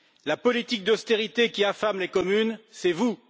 La politique d'austérité qui affame les communes, c'est vous!